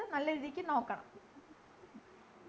health നല്ലൊരുരീതിക്ക് നോക്കണം